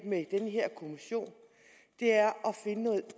med den her kommission er at finde noget